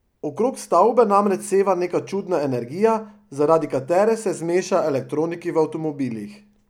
Okrog stavbe namreč seva neka čudna energija, zaradi katere se zmeša elektroniki v avtomobilih.